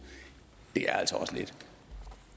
er altså også lidt